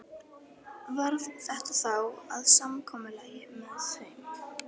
Varð þetta þá að samkomulagi með þeim.